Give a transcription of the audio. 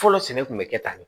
Fɔlɔ sɛnɛ kun bɛ kɛ tan ne